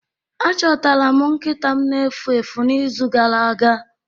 Achọtara m nkịta m na-efu efu n'izu gara aga.